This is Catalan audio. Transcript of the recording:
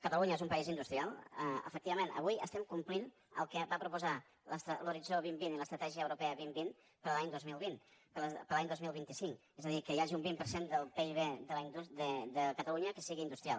catalunya és un país industrial efectivament avui estem complint el que va proposar l’horitzó dos mil vint i l’estratègia europea dos mil vint per a l’any dos mil vint per a l’any dos mil vint cinc és a dir que hi hagi un vint per cent del pib de catalunya que sigui industrial